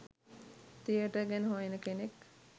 theatre ගැන හොයන කෙනෙක්